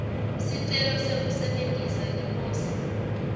sicelo sekusebentisa liposi